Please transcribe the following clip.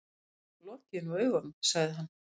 Lokiði nú augunum, sagði hann.